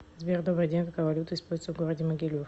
сбер добрый день какая валюта используется в городе могилев